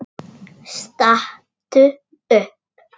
Stattu upp!